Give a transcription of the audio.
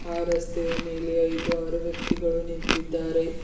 ರಸ್ತೆಯ ಮೇಲೆ ಐದು ಆರು ವ್ಯಕ್ತಿಗಳು ನಿಂತಿದ್ದಾರೆ.